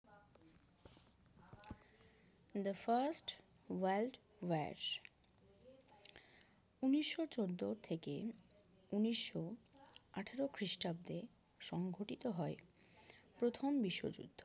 The first world war ঊনিশো চোদ্দ থেকে ঊনিশো আটারো খ্রিস্টাব্দে সংঘটিত হয় প্রথম বিশ্বযুদ্ধ